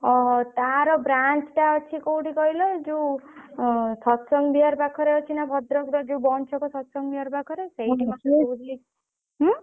ଓହୋ। ତାର branch ଟା ଅଛି କୋଉଠି କହିଲ ଏଇ ଯୋଉ ଅଁ ସତସଙ୍ଗ ବିହାର ପାଖରେ ଅଛି ନା ଭଦ୍ରକର ଯୋଉ ଛକ ସତସଙ୍ଗ ବିହାର ପାଖରେ ସେଇଠି ମତେ କହୁଥିଲେ ଉଁ?